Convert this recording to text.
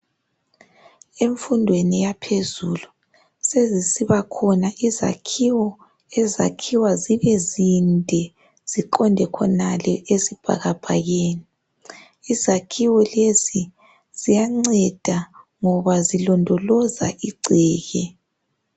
Emfundweni yaphezulu sezisibakhona izakhiwo ezakhiwa zibe zinde ziqonde khonale esibhakabhakeni. Izakhiwo lezi ziyanceda ngoba zilondoloza igceke.